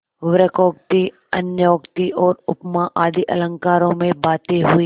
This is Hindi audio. वक्रोक्ति अन्योक्ति और उपमा आदि अलंकारों में बातें हुईं